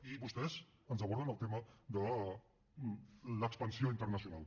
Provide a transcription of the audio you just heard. i vostès ens aborden el tema de l’expansió internacional